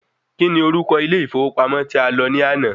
Kí ni orúko ilé ìfọwọ́pamọ́ tí a lọ ní àná?